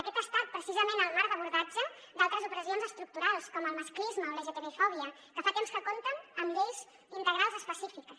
aquest ha estat precisament el marc d’abordatge d’altres operacions estructurals com el masclisme o lgtbi fòbia que fa temps que compten amb lleis integrals específiques